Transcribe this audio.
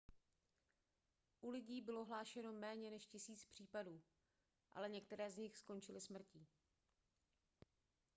u lidí bylo hlášeno méně než tisíc případů ale některé z nich skončily smrtí